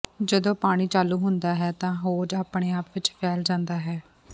ਜਦੋਂ ਪਾਣੀ ਚਾਲੂ ਹੁੰਦਾ ਹੈ ਤਾਂ ਹੋਜ਼ ਆਪਣੇ ਆਪ ਵਿਚ ਫੈਲ ਜਾਂਦਾ ਹੈ